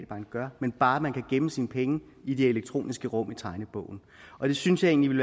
bank gør men bare at man kan gemme sine penge i det elektroniske rum i tegnebogen og jeg synes egentlig